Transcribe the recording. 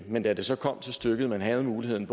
men da det så kom til stykket og man havde muligheden